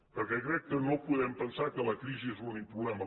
perquè crec que no podem pensar que la crisi és l’únic problema